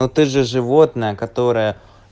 а ты же животное которое